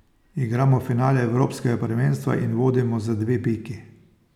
Igramo finale evropskega prvenstva in vodimo za dve piki!